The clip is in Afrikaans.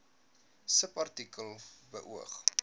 subartikel beoog